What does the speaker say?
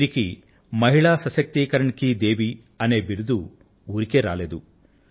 వీరికి మహిళా సశక్తీకరణ్ కీ దేవీ అనే బిరుదు ఊరికే రాలేదు